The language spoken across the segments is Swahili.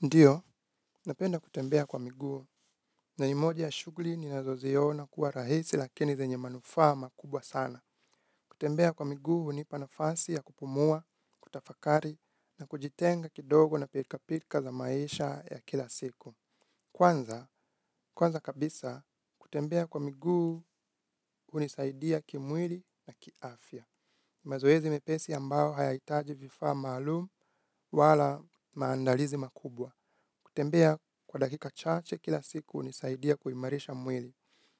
Ndiyo, napenda kutembea kwa miguu na ni moja ya shugli ninazoziona kuwa rahisi lakini zenye manufaa makubwa sana. Kutembea kwa miguu hunipa nafasi ya kupumua, kutafakari na kujitenga kidogo na pilkapilka za maisha ya kila siku. Kwanza, kwanza kabisa, kutembea kwa miguu hunisaidia kimwili na kiafya. Mazoezi mepesi ambao hayaitaji vifaa maalum wala maandalizi makubwa. Kutembea kwa dakika chache kila siku hunisaidia kuimarisha mwili,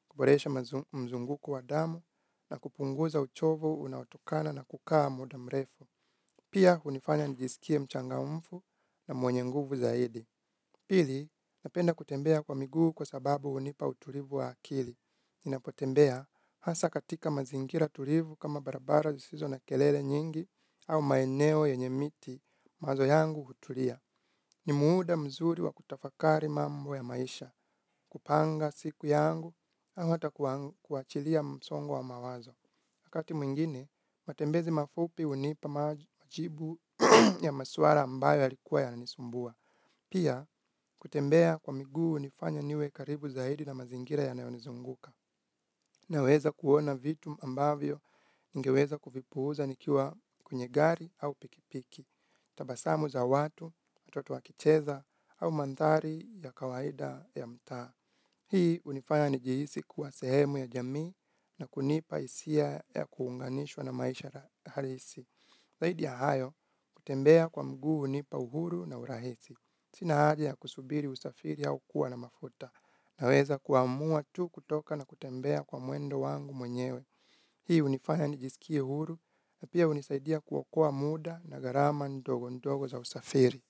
kuboresha mzunguko wa damu na kupunguza uchovu unaotokana na kukaa muda mrefu. Pia hunifanya nijisikie mchangamfu na mwenye nguvu zaidi. Pili, napenda kutembea kwa miguu kwa sababu hunipa uturivu wa akili. Ninapotembea hasa katika mazingira tulivu kama barabara zisizo na kelele nyingi au maeneo yenye miti mawazo yangu huturia. Ni muuda mzuri wa kutafakari mambo ya maisha. Kupanga siku yangu, au hata kuachilia msongo wa mawazo. Wakati mwingine, matembezi mafupi hunipa majibu ya maswara ambayo yalikuwa yananisumbua. Pia, kutembea kwa miguu hunifanya niwe karibu zaidi na mazingira yanayonizunguka. Naweza kuona vitu ambavyo, ningeweza kuvipuuza nikiwa kwenye gari au pikipiki. Tabasamu za watu, watoto wakicheza au mandhari ya kawaida ya mtaa. Hii unifanya nijihisi kuwa sehemu ya jamii na kunipa isia ya kuunganishwa na maisha harisi. Zaidi ya hayo, kutembea kwa mguu hunipa uhuru na urahisi. Sina haja ya kusubiri usafiri au kuwa na mafuta. Naweza kuamua tu kutoka na kutembea kwa mwendo wangu mwenyewe. Hii hunifanya nijisikie huru na pia hunisaidia kuokoa muda na gharama ndogo ndogo za usafiri.